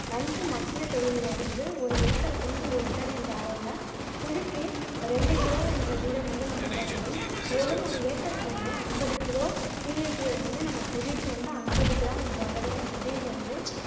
நன்கு மக்கிய தொழு உரம் வந்து ஒரு ஏக்கருக்கு வந்து ஒரு டன் என்ற அளவுல குழிக்கு ரெண்டு கிலோ என்ற வீதம் வந்து நம்ம இட வேண்டும் மேலும் ஒரு ஏக்க்ருக்கு வந்து அம்பது கிலோ டி ஏ பி வந்து நம்ம குழிக்கு வந்து அம்பது கிராம் என்ற அளவுல செடியிலிருந்து